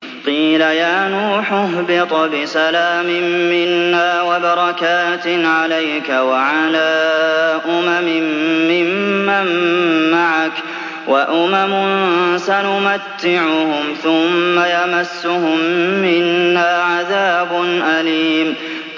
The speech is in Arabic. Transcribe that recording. قِيلَ يَا نُوحُ اهْبِطْ بِسَلَامٍ مِّنَّا وَبَرَكَاتٍ عَلَيْكَ وَعَلَىٰ أُمَمٍ مِّمَّن مَّعَكَ ۚ وَأُمَمٌ سَنُمَتِّعُهُمْ ثُمَّ يَمَسُّهُم مِّنَّا عَذَابٌ أَلِيمٌ